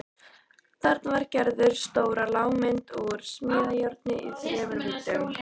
Þarna vann Gerður stóra lágmynd úr smíðajárni í þremur víddum.